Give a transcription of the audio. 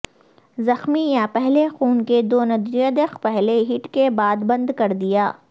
زخمی یا پہلے خون کے دوندویودق پہلی ہٹ کے بعد بند کر دیا